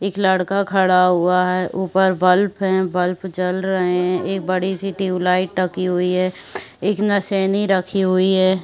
एक लड़का खड़ा हुआ है। ऊपर बल्फ है। बल्फ जल रहे हैं। एक बड़ी-सी ट्यूबलाइट हुई हैं। एक रखी हुई है।